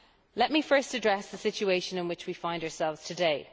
Let me first address the situation in which we find ourselves today.